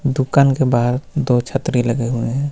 दूकान के बाहर दो छतरी लगे हुए हे.